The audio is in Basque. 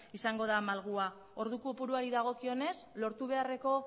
izango da malgua ordu kopuruari dagokionez lortu beharreko